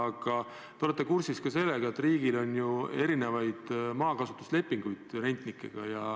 Aga te olete kursis ka sellega, et riigil on erinevaid maakasutuslepinguid rentnikega.